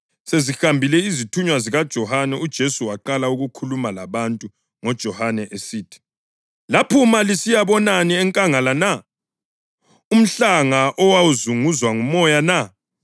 Sezihambile izithunywa zikaJohane uJesu waqala ukukhuluma labantu ngoJohane esithi: “Laphuma lisiyabonani enkangala na? Umhlanga owazunguzwa ngumoya na?